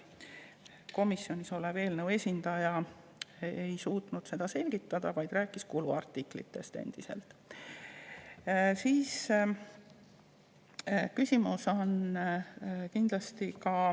Komisjonis olev eelnõu esindaja ei suutnud seda selgitada, vaid rääkis endiselt kuluartiklitest.